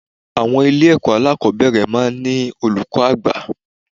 Àwọn ilé ẹ̀kọ́ alákòbẹ̀rẹ̀ máa ń ní olùkọ́ àgbà